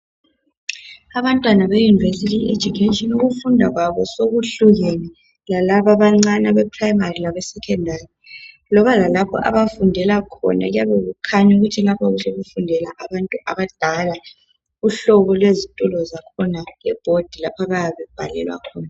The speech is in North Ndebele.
Abantwana be university education ukufunda kwabo sekuhlukene. Lalabo abancane abeprimary labesecondary. Loba lalapho abafundela khona kuyabe sekukhanya ukuthi lapha sekufundela abantu abadala. Uhlobo lwezitulo zakhona, lebhodi, lapha abayabe bebhalela khona.